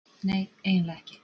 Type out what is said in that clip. Nei, eiginlega ekki.